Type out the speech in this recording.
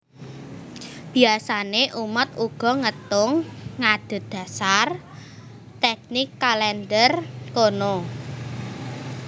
Biasané umat uga ngétung adhedhasar tèknik kalèndher kono